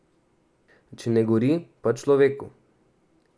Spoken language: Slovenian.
Če ne gori, pa človeku.